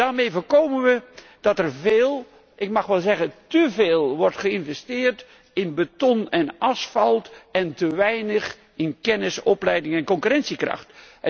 Daarmee voorkomen we dat er veel ik mag wel zeggen teveel wordt geïnvesteerd in beton en asfalt en te weinig in kennis, opleiding en concurrentiekracht.